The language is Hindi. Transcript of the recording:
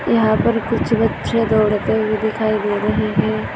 यहा पर कुछ बच्चे दौड़ते हुए दिखाई दे रहे है।